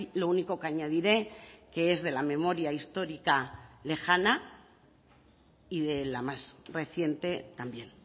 lo único que añadiré que es de la memoria histórica lejana y de la más reciente también